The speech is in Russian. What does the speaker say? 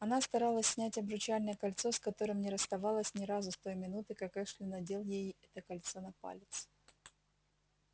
она старалась снять обручальное кольцо с которым не расставалась ни разу с той минуты как эшли надел ей это кольцо на палец